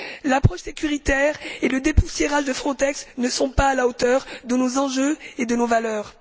L'approche sécuritaire et le dépoussiérage de Frontex ne sont pas à la hauteur de nos enjeux et de nos valeurs.